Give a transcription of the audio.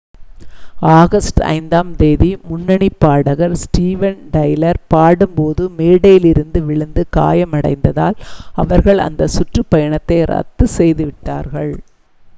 August 5 ஆம் தேதி முன்னணிப் பாடகர் ஸ்டீவன் டைலர் பாடும்போது மேடையிலிருந்து விழுந்து காயமடைந்ததால் அவர்கள் அந்த சுற்றுப் பயணத்தை ரத்து செய்து விட்டார்கள்